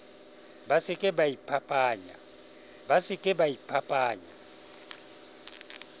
ba se ke ba iphapanya